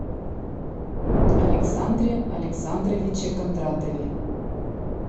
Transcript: александре александровиче кондратове